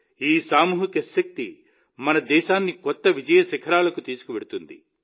ఈ సామూహిక శక్తి మన దేశాన్ని కొత్త విజయ శిఖరాలకు తీసుకెళ్తుంది